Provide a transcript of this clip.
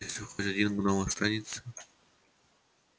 и если хоть один гном останется